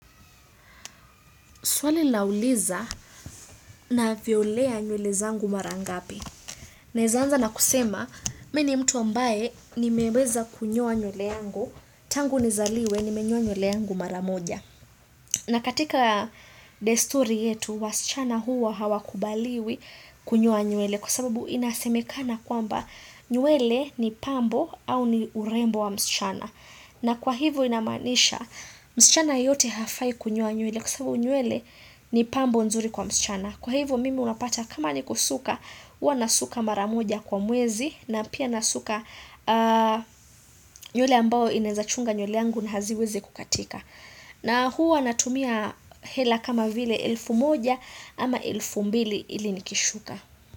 Swali linauliza ninavyolea nywele zangu mara ngapi. Ninaweza anza na kusema, mimi ni mtu ambaye nimeweza kunyoa nywele yangu, tangu ni zaliwe ni menyoa nywele yangu maramoja. Na katika desturi yetu, wasichana huwa hawakubaliwi kunyoa nywele kwasababu inasemekana kwamba nywele ni pambo au ni urembo wa msichana. Na kwa hivyo inamaanisha, msichana yoyote hafai kunyoa nywele kwasababu nywele ni pambo nzuri kwa msichana. Kwa hivyo mimi unapata kama ni kusuka, huwa nasuka maramoja kwa mwezi na pia nasuka nywele ambao inawezachunga nywele yangu na haziwezi kukatika. Na huwa natumia hela kama vile elfu moja ama elfu mbili ili nikishuka.